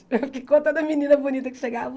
Com toda menina bonita que chegava